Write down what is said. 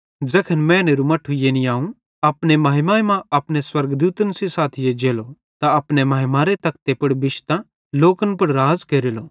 ज़ैखन मैनेरू मट्ठू यानी अवं अपने महिमा मां अपने स्वर्गदूतन सेइं साथी एज्जेलो त अपने महिमारे तखते पुड़ बिश्तां लोकन पुड़ राज़ केरेलो